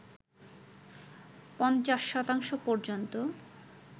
পঞ্চাশ শতাংশ পর্যন্ত